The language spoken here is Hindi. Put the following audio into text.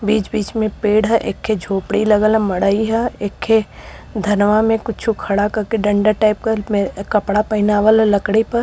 बीच-बीच में पेड़ ह। एक खे झोपङी लगल ह मड़ई ह। एक खे धनवा में कुछो खङा कके डन्डा टाईप क में कपड़ा पहीनावल ह लकड़ी प।